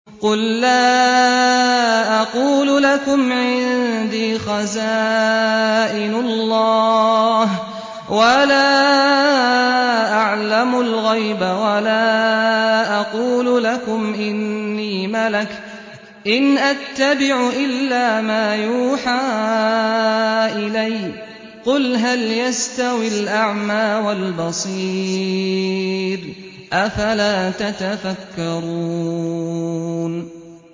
قُل لَّا أَقُولُ لَكُمْ عِندِي خَزَائِنُ اللَّهِ وَلَا أَعْلَمُ الْغَيْبَ وَلَا أَقُولُ لَكُمْ إِنِّي مَلَكٌ ۖ إِنْ أَتَّبِعُ إِلَّا مَا يُوحَىٰ إِلَيَّ ۚ قُلْ هَلْ يَسْتَوِي الْأَعْمَىٰ وَالْبَصِيرُ ۚ أَفَلَا تَتَفَكَّرُونَ